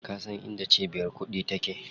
Ka san inda cibiyar kuɗi take?